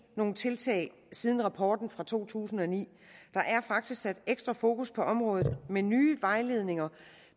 nogle tiltag siden rapporten fra to tusind og ni der er faktisk sat ekstra fokus på området med nye vejledninger